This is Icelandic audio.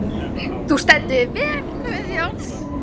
Þú stendur þig vel, Guðjón!